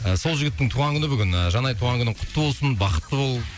ы сол жігіттің туған күні бүгін ы жанай туған күнің құтты болсын бақытты бол